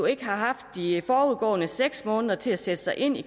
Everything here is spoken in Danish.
ikke har haft de forudgående seks måneder til at sætte sig ind i